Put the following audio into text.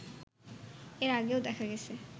এর আগেও দেখা গেছে